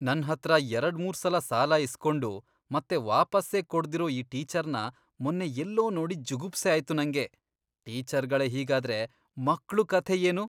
ನನ್ಹತ್ರ ಎರಡ್ಮೂರ್ಸಲ ಸಾಲ ಇಸ್ಕೊಂಡು ಮತ್ತೆ ವಾಪಸ್ಸೇ ಕೊಡ್ದಿರೋ ಆ ಟೀಚರ್ನ ಮೊನ್ನೆ ಎಲ್ಲೋ ನೋಡಿ ಜುಗುಪ್ಸೆ ಆಯ್ತು ನಂಗೆ. ಟೀಚರ್ಗಳೇ ಹೀಗಾದ್ರೆ ಮಕ್ಳು ಕಥೆ ಏನು?!